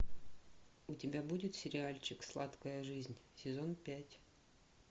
у тебя будет сериальчик сладкая жизнь сезон пять